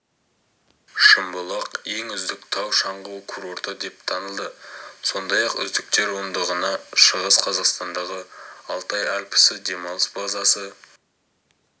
шымбұлақ ең үздік тау-шаңғы курорты деп танылды сондай-ақ үздіктер ондығына шығыс қазақстандағы алтай альпісі демалыс базасы